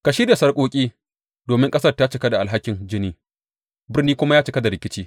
Ka shirya sarƙoƙi, domin ƙasar ta cika da alhakin jini, birnin kuma ya cika da rikici.